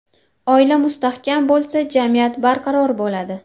Oila mustahkam bo‘lsa, jamiyat barqaror bo‘ladi.